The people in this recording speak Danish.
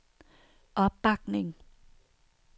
opbakning